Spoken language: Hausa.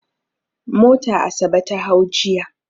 Mota Asabe ta hau jiya.